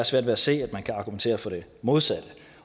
svært ved at se at man kan argumentere for det modsatte og